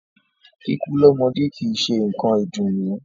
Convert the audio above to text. Kíkú lọ́mọdé kìí ṣe nǹkan ìdùnnú.